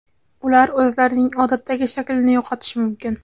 Ular o‘zlarining odatdagi shaklini yo‘qotishi mumkin.